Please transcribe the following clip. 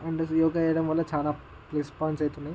And yoga చేయడం వల్ల చాలా ప్లెస్ పాయింట్స్ అయితే ఉన్నాయి.